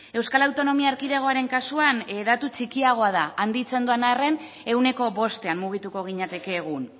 euskal autonomi erkidegoaren kasuan datu txikiagoa da handitzen doan arren ehuneko bostean mugituko ginateke egun